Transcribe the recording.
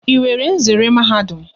Ị nwere nzere Mahadum?